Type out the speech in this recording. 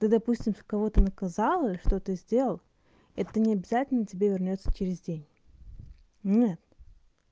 ты допустим в кого-то наказала или что ты сделал это не обязательно тебе вернётся через день нет